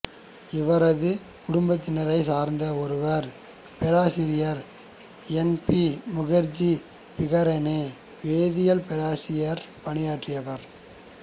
இவரது குடும்பத்தினைச் சார்ந்த ஒருவர் பேராசிரியர் என் பி முகர்ஜி பிகானேரில் வேதியியல் பேராசிரியர் பணியாற்றியவர்